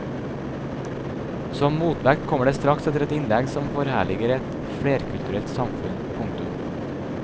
Som motvekt kommer det straks etter et innlegg som forherliger et flerkulturelt samfunn. punktum